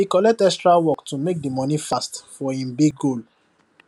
he collect extra work to make the money fast for him big goal